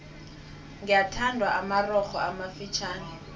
gyathandwa amarogo amafitjhani